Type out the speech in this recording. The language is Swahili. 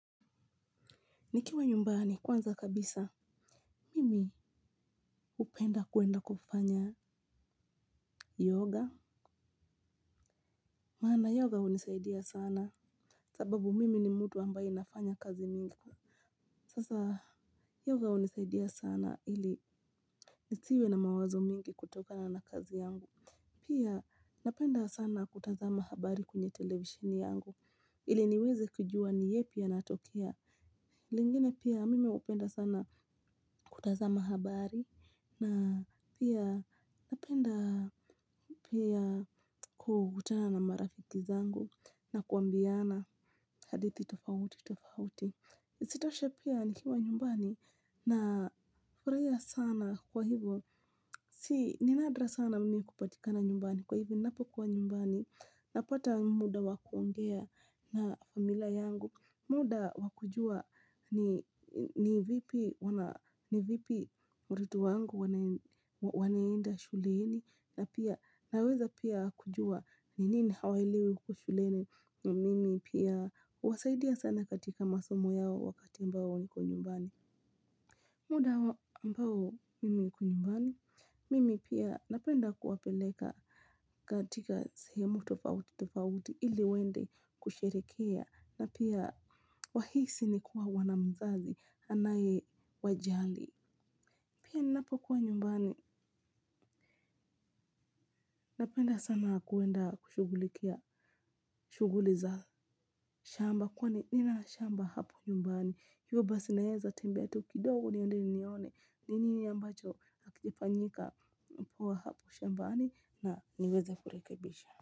Nikiwa nyumbani kwanza kabisa. Mimi hupenda kwenda kufanya yoga. Maana yoga hunisaidia sana. Sababu mimi ni mtu ambaye nafanya kazi mingi. Sasa yoga hunisaidia sana ili nisiwe na mawazo mingi kutokana na kazi yangu. Pia napenda sana kutazama habari kwenye televisheni yangu ili niweze kujua ni yepi yanatokea. Lingine pia mimi hupenda sana kutazama habari na pia napenda pia kukutana na marafiki zangu na kuambiana hadithi tofauti tofauti. Isitoshe pia nikiwa nyumbani na furahia sana kwa hivo. Ni nadra sana mimi kupatikana nyumbani, kwa hivo ninapokuwa nyumbani napata muda wakuongea na familia yangu. Muda wakujua ni vipi watoto wangu wanaenda shuleni na pia naweza pia kujua ni nini hawaelewi huko shuleni na mimi pia huwasaidia sana katika masomo yao wakati ambao niko nyumbani. Muda ambao mimi niko nyumbani, mimi pia napenda kuwapeleka katika sehemu tofauti tofauti ili waende kusherehekea na pia wahisi ni kuwa wana mzazi anaye wajali. Pia ninapokuwa nyumbani, napenda sana kuenda kushughulikia, shughuli za shamba, kwani nina shamba hapa nyumbani. Hio basi naweza tembea tu kidogo niende nione, ni nini ambacho hakijafanyika poa hapo shambani na niweze kurekebisha.